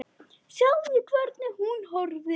Sjáðu, hvernig hún horfir!